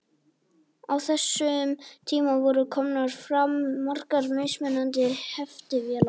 Á þessum tíma voru komnar fram margar mismunandi heftivélar.